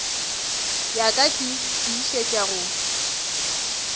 ya ka ke tiišetša go